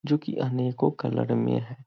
जो की अनेकों कलर में हैं।